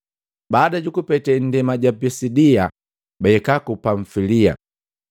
Baada jukupete nndema ja Pisidia, bahika ku Pamfilia.